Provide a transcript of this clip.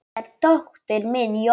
Þetta er dóttir mín, Jóra